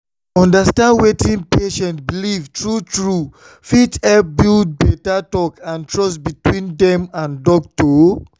to understand wetin patient believe true-true fit help build better talk and trust between dem and doctor.